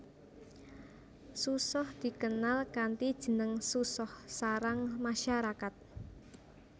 Susoh dikenal kanthi jeneng susoh sarang masyarakat